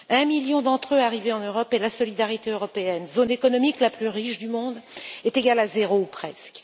un million d'entre eux arrivés en Europe et la solidarité européenne, zone économique la plus riche du monde, est égale à zéro ou presque.